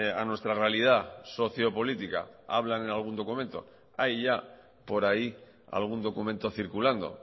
a nuestra realidad socio política hablan en algún documento hay ya por ahí algún documento circulando